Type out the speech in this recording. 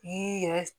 I y'i yɛrɛ